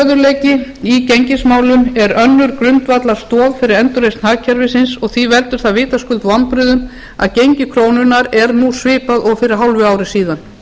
stöðugleiki í gengismálum er önnur grundvallarstoð fyrir endurreisn hagkerfisins og því veldur það vitaskuld vonbrigðum að gengi krónunnar er nú svipað og fyrir hálfu ári síðan